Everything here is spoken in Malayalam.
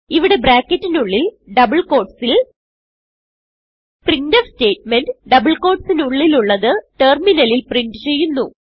ഇവിടെ ബ്രാക്കറ്റിനുള്ളിൽ ഡബിൾ ക്യൂട്ടീസ് ൽ പ്രിന്റ്ഫ് സ്റ്റേറ്റ്മെന്റ് ഡബിൾ quoteസിനുള്ളിലുള്ളത് ടെർമിനലിൽ പ്രിന്റ് ചെയ്യുന്നു